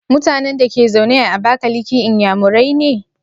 Mutanan Dake zaune a abakaliki inyamurai ne?